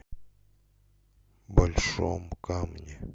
большом камне